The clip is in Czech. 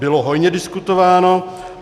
Bylo hojně diskutováno.